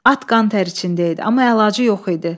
At qan tər içində idi, amma əlacı yox idi.